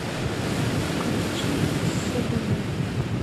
включи седона